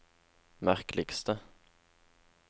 merkeligste